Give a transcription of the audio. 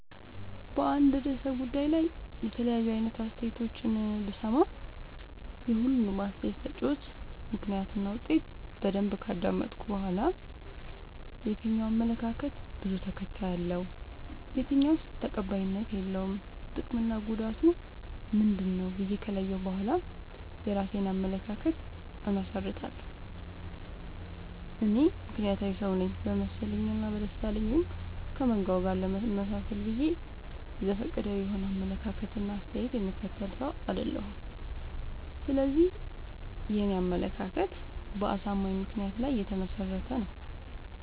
በአንድ እርሰ ጉዳይ ላይ የተለያዩ አይነት አስተያየቶችን ብሰማ። የሁሉንም አስታየት ሰጭወች ምክንያት እና ውጤት በደንብ ካዳመጥኩ በኋላ። የትኛው አመለካከት በዙ ተከታይ አለው። የትኛውስ ተቀባይነት የለውም ጥቅምና ጉዳቱ ምንድ ነው ብዬ ከለየሁ በኋላ የእራሴን አመለካከት አመሠርታለሁ። እኔ ምክንያታዊ ሰውነኝ በመሰለኝ እና በደሳለኝ ወይም ከመንጋው ጋር ለመመጣሰል ብዬ ዘፈቀዳዊ የሆነ አመለካከት እና አስተያየት የምከተል ሰው። አይደለሁም ስለዚህ የኔ አመለካከት በአሳማኝ ምክንያት ላይ የተመሰረተ ነው።